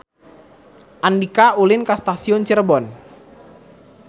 Andika ulin ka Stasiun Cirebon